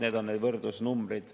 Need on need võrdlusnumbrid.